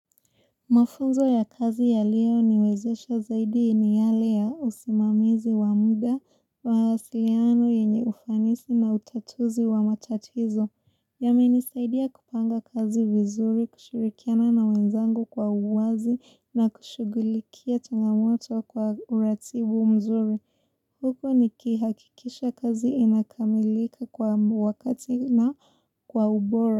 Mafuzo ya kazi ya leo niwezesha zaidi ni yale ya usimamizi wa muda wa mawasiliano yenye ufanisi na utatuzi wa matatizo. Yame nisaidia kupanga kazi vizuri, kushirikiana na wenzangu kwa uwazi na kushugulikia changamoto kwa uratibu mzuri. Huku ni kihakikisha kazi inakamilika kwa wakati na kwa ubora.